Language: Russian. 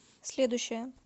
следующая